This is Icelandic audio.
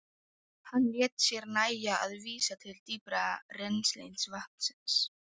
Slæ af síðar til að jafna metin.